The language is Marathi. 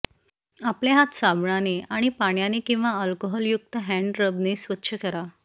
आपले हात साबणाने आणि पाण्याने किंवा अल्कोहल युक्त हॅंड रबने स्वच्छ करा